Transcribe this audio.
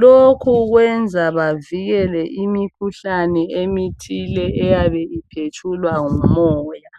lokhu kwenza bavikele imikuhlane emithile iyabe iphetshulwa ngumoya.